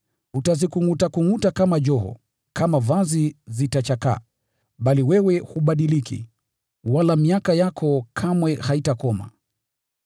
Utazikungʼutakungʼuta kama joho, nazo zitachakaa kama vazi. Lakini wewe hubadiliki, nayo miaka yako haikomi kamwe.”